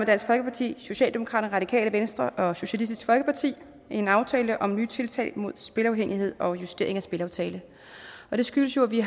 dansk folkeparti socialdemokratiet radikale venstre og socialistisk folkeparti en aftale om nye tiltag mod spilafhængighed og justering af spilaftalen det skyldes jo at vi